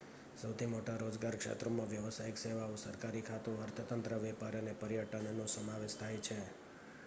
સૌથી મોટા રોજગાર ક્ષેત્રોમાં વ્યાવસાયિક સેવાઓ સરકારી ખાતું અર્થતંત્ર વેપાર અને પર્યટનનો સમાવેશ થાય છે